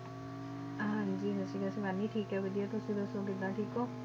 ਹਾਂਜੀ ਵਧੀਆ ਤੇ ਮੈਂ ਵੀ ਠੀਕ ਹਾਂ ਵਧੀਆ, ਤੁਸੀਂ ਦੱਸੋ ਕਿੱਦਾਂ ਠੀਕ ਹੋ?